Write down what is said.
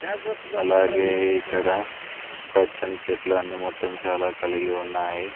అలాగే ఇక్కడ పచ్చని చెట్లు అన్ని మొత్తం చాలా కలిగి ఉన్నాయి.